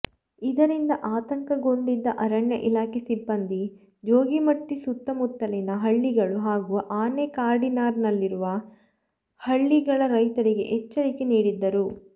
ಇದರಿಂದ ಆತಂಕಗೊಂಡಿದ್ದ ಅರಣ್ಯ ಇಲಾಖೆ ಸಿಬ್ಬಂದಿ ಜೋಗಿಮಟ್ಟಿ ಸುತ್ತಮುತ್ತಲಿನ ಹಳ್ಳಿಗಳು ಹಾಗೂ ಆನೆ ಕಾರಿಡಾರ್ನಲ್ಲಿರುವ ಹಳ್ಳಿಗಳ ರೈತರಿಗೆ ಎಚ್ಚರಿಕೆ ನೀಡಿದ್ದರು